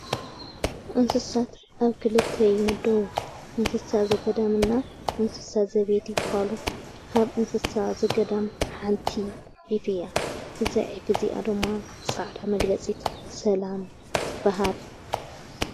እንስሳት ኣብ ክልት ይምደቡ እንስሳ ዘገዳም ና እንስሳት ዘቤት ብሃሉ ካብ እንስሳት ዘገዳም ሓንቲ ዒፍ እያ እዛይ ዒፍ እዚኣ ድማ ፃዕዳ መግለጺት ሰላም ትበሃል።